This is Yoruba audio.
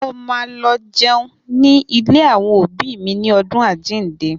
Mo ma lọ jẹun ní ilé àwọn òbí mi ní ọdún Àjíǹde